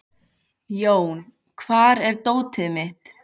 Jón, hvar er dótið mitt?